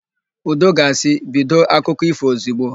Udo ga-asị, "bido ịkọ akụkụ ífò ozigbo"!